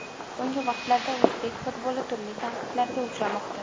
So‘nggi vaqtlarda o‘zbek futboli turli tanqidlarga uchramoqda.